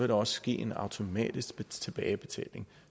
der også ske en automatisk tilbagebetaling